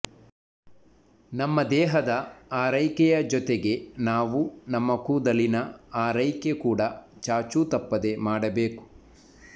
ನಮ್ಮ ದೇಹದ ಆರೈಕೆಯ ಜೊತೆಗೆ ನಾವು ನಮ್ಮ ಕೂದಲಿನ ಆರೈಕೆ ಕೂಡ ಚಾಚೂ ತಪ್ಪದೆ ಮಾಡಬೇಕು